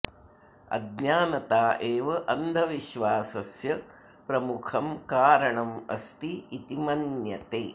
अज्ञानता एव अन्धविश्वासस्य प्रमुखं कारणम् अस्ति इति मन्यते